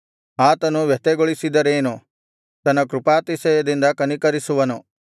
ಆತನು ವ್ಯಥೆಗೊಳಿಸಿದರೇನು ತನ್ನ ಕೃಪಾತಿಶಯದಿಂದ ಕನಿಕರಿಸುವನು